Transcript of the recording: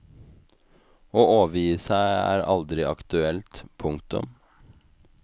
Å overgi seg er aldri aktuelt. punktum